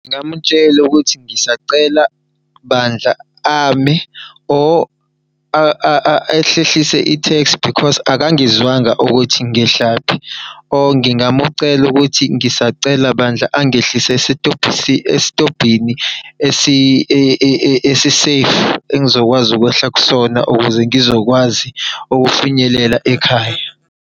Ngingamutshela ukuthi ngisacela bandla ame or ehlehlise itheksi because akangizwanga ukuthi ngehlaphi or ngingamucela ukuthi ngisacela bandla angehlise esitobhini esi-safe. Engizokwazi ukwehla kusona, ukuze ngizokwazi ukufinyelela ekhaya.